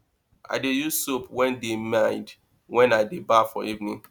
i dey use soap wey dey mild wen i dey baff for evening